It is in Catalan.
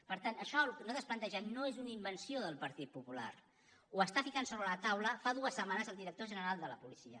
per tant això el que nosaltres plantegem no és una invenció del partit popular ho està posant sobre la taula fa dues setmanes el director general de la policia